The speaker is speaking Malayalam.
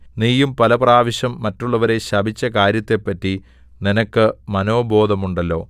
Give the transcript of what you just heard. നീയും പല പ്രാവശ്യം മറ്റുള്ളവരെ ശപിച്ച കാര്യത്തെപ്പറ്റി നിനക്ക് മനോബോധമുണ്ടല്ലോ